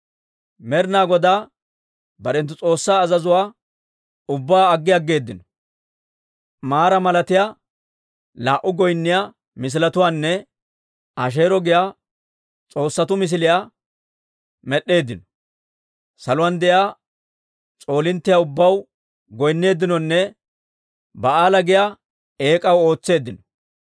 Med'ina Godaa barenttu S'oossaa azazuwaa ubbaa aggi aggeeddino. Maraa malatiyaa, laa"u goynniyaa misiletuwaanne Asheero giyaa s'oossatuu misiliyaa med'd'eeddino. Saluwaan de'iyaa s'oolinttiyaa ubbaw goynneeddinonne Ba'aala giyaa eek'aw ootseeddino.